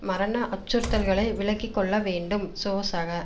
மரண அச்சுறுத்தல்களை விலக்கி கொள்ள வேண்டும் சோசக